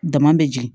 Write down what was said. Dama bɛ jigin